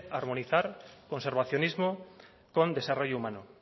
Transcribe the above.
armonizar conservacionismo con desarrollo humano